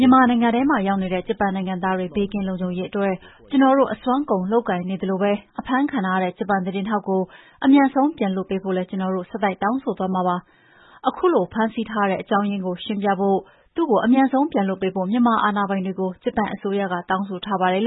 ြန်မာနိုင်ငံထဲမှာရောက်နေတဲ့ ဂျပန်နိုင်ငံသားတွေ ဘေးကင်းလုံခြုံရေးအတွက် ကျနော်တို့အစွမ်းကုန်လုပ်ကိုင်နေတဲ့အချိန်မှာ အဖမ်းခံထားတဲ့ ဂျပန်သတင်းထောက်ကို အမြန်ဆုံးပြန်လွှတ်ပေးဖို့လည်း ကျနော်တို့ ဆက်တိုက်တောင်းဆိုသွားမှာပါ။ ခုလိုဖမ်းဆီးထားရတဲ့အကြောင်းရင်းကို ရှင်းပြဖို့၊ သူ့ကိုအမြန်ဆုံးပြန်လွှတ်ပေးဖို့ မြန်မာအာဏာပိုင်တွေကို ဂျပန်အစိုးရက တောင်းဆိုထားပါတယ် ”